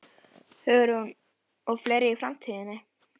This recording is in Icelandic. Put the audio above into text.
Hugrún: Og fleiri í framtíðinni?